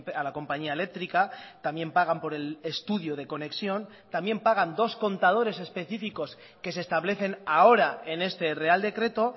a la compañía eléctrica también pagan por el estudio de conexión también pagan dos contadores específicos que se establecen ahora en este real decreto